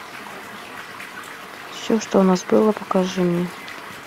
все что у нас было покажи мне